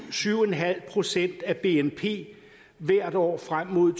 syv en halv procent af bnp hvert år frem mod